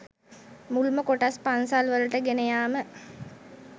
මුල්ම කොටස් පන්සල් වලට ගෙන යාම